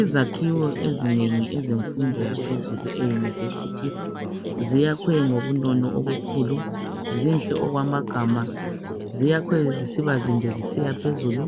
Izakhiwo azinengi ezemfundo yaphezulu e'University " ziyakhwe ngobunono obukhulu zinhle okwamagama ziyakhwe zisiba zinde zisiya phezulu